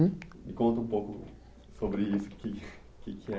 Hum. Me conta um pouco sobre isso, o que que que é